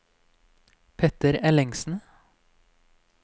Petter Ellingsen